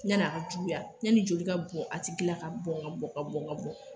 Yan'a ka juguya yani joli ka bɔ a tigi la ka bɔn ka bɔn ka bɔn ka bɔn